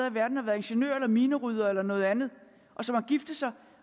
i verden og været ingeniører eller mineryddere eller noget andet og som har giftet sig